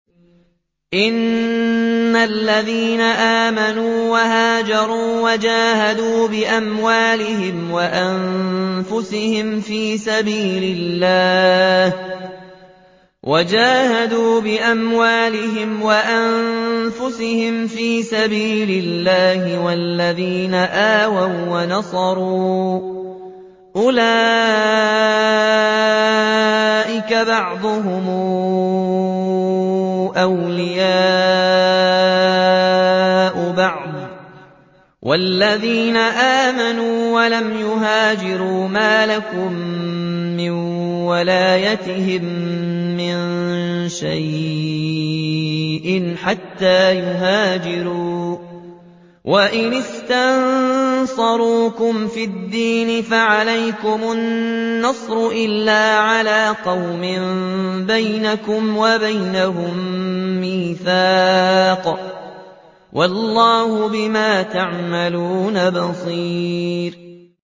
إِنَّ الَّذِينَ آمَنُوا وَهَاجَرُوا وَجَاهَدُوا بِأَمْوَالِهِمْ وَأَنفُسِهِمْ فِي سَبِيلِ اللَّهِ وَالَّذِينَ آوَوا وَّنَصَرُوا أُولَٰئِكَ بَعْضُهُمْ أَوْلِيَاءُ بَعْضٍ ۚ وَالَّذِينَ آمَنُوا وَلَمْ يُهَاجِرُوا مَا لَكُم مِّن وَلَايَتِهِم مِّن شَيْءٍ حَتَّىٰ يُهَاجِرُوا ۚ وَإِنِ اسْتَنصَرُوكُمْ فِي الدِّينِ فَعَلَيْكُمُ النَّصْرُ إِلَّا عَلَىٰ قَوْمٍ بَيْنَكُمْ وَبَيْنَهُم مِّيثَاقٌ ۗ وَاللَّهُ بِمَا تَعْمَلُونَ بَصِيرٌ